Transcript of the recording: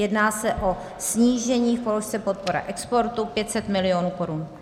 Jedná se o snížení v položce podpora exportu 500 mil. korun.